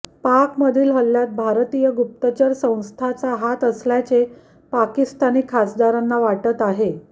पाकमधील हल्ल्यात भारतीय गुप्तचर संस्थाचा हात असल्याचे पाकिस्तानी खासदारांना वाटत आहे